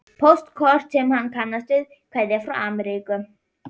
Póstkort sem hann kannast við, kveðja frá Ameríku.